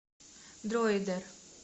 дроидер